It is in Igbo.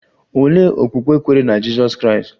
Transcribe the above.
Olee okpukpe kweere na Jizọs Kraịst?